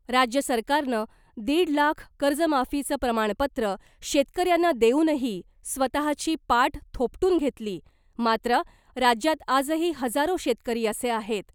राज्य सरकारनं दीड लाख कर्जमाफीचं प्रमाणपत्र शेतकऱ्यांना देऊनही स्वतःची पाठ थोपटून घेतली , मात्र राज्यात आजही हजारो शेतकरी असे आहेत,